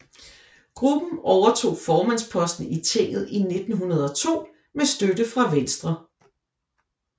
Gruppen overtog formandsposten i tinget i 1902 med støtte fra Venstre